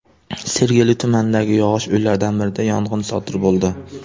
Sergeli tumanidagi yog‘och uylardan birida yong‘in sodir bo‘ldi.